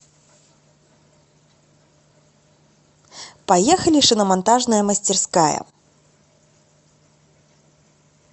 поехали шиномонтажная мастерская